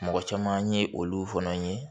Mɔgɔ caman ye olu fana ye